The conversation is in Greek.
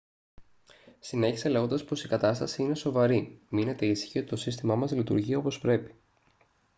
συνέχισε λέγοντας πως «η κατάσταση είναι σοβαρή. μείνετε ήσυχοι ότι το σύστημά μας λειτουργεί όπως πρέπει»